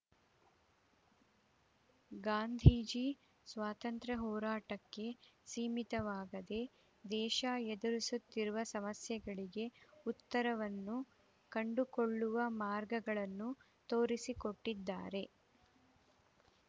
ಗಾಂಧೀಜಿ ಸ್ವಾತಂತ್ರ್ಯ ಹೋರಾಟಕ್ಕೆ ಸೀಮಿತವಾಗದೆ ದೇಶ ಎದುರಿಸುತ್ತಿರುವ ಸಮಸ್ಯೆಗಳಿಗೆ ಉತ್ತರವನ್ನು ಕಂಡುಕೊಳ್ಳುವ ಮಾರ್ಗಗಳನ್ನು ತೋರಿಸಿಕೊಟ್ಟಿದ್ದಾರೆ